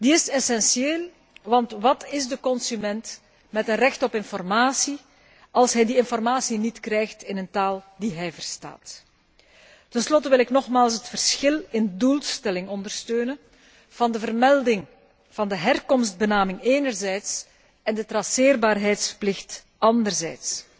Die is essentieel, want wat is de consument met een recht op informatie, als hij die informatie niet krijgt in een taal die hij verstaat? Ten slotte wil ik nogmaals het verschil in doelstelling onderstrepen van de vermelding van de herkomstbenaming enerzijds en de traceerbaarheidsplicht anderzijds.